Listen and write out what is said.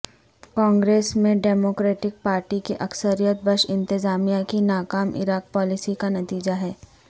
کانگریس میں Democratic Party کی اکثریت بش انتظامیہ کی ناکام عراق پالیسی کا نتیجہ ہے